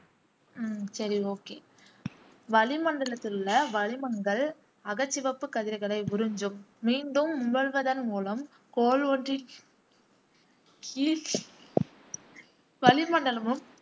உம் சரி ஓகே வளிமண்டலத்திலுள்ள வளிமங்கள் அகச்சிவப்பு கதிர்களை உறிஞ்சும் மீண்டும் உமிழ்வதன் மூலம் கோள் ஒன்றி கீழ் வளிமண்டலமும்